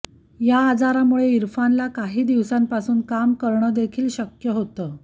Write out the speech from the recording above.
या आजारामुळे इरफानला काही दिवसांपासून काम करणं देखील शक्य होत